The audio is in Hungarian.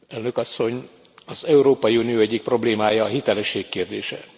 Elnök Asszony, az Európai Unió egyik problémája a hitelesség kérdése.